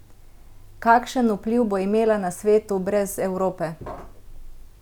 Kakšen vpliv bo imela na svetu brez Evrope?